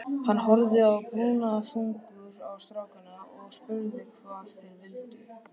Hann horfði brúnaþungur á strákana og spurði hvað þeir vildu.